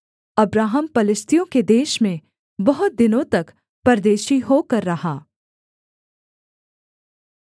Abraham पलिश्तियों के देश में बहुत दिनों तक परदेशी होकर रहा